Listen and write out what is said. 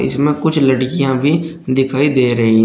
इसमें कुछ लड़कियां भी दिखाई दे रही--